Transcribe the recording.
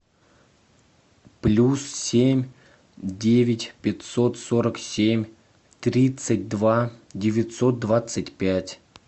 плюс семь девять пятьсот сорок семь тридцать два девятьсот двадцать пять